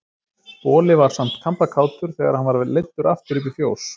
Boli var samt kampakátur þegar hann var leiddur aftur upp í fjós.